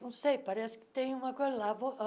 Não sei, parece que tem uma coisa lá. vou